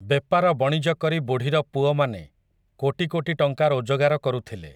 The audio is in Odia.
ବେପାର ବଣିଜ କରି ବୁଢ଼ୀର ପୁଅମାନେ, କୋଟି କୋଟି ଟଙ୍କା ରୋଜଗାର କରୁଥିଲେ ।